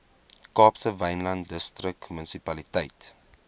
kaapse wynland distriksmunisipaliteit